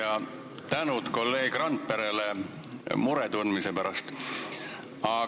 Ja tänu kolleeg Randperele mure tundmise eest!